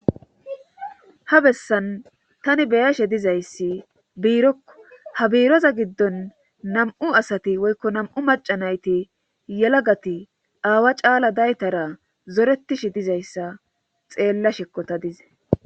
Ha bessan tani beyashe dizayssi biirokko ha biiroza giddon nam'u asati woykko nam'u macanayti yelagati aawa caala daytara zoretishe dizayssa xeella shekkota dize.